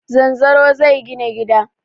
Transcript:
Zanzaro zai gina gida.